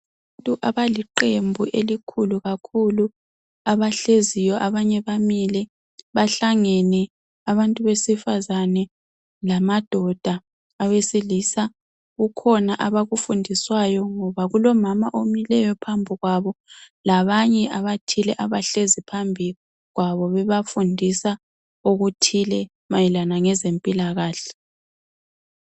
Abantu abaliqembu elikhulu kakhulu abahleziyo abanye bamile bahlangene abantu besifazane lamadoda awesilisa kukhona abakufundiswayo ngoba kulomama omileyo phambikwabo labanye abathile abahleziphambikwabo bebafundisa okuthile mayelelana ngezempilakahle.